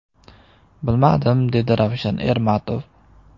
Bilmadim”, dedi Ravshan Ermatov.